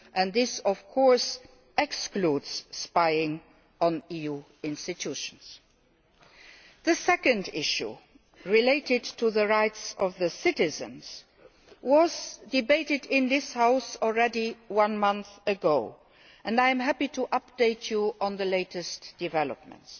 This of course excludes spying on EU institutions. The second issue, related to the rights of EU citizens, has already been debated in this House one month ago and I am happy to update you on the latest developments.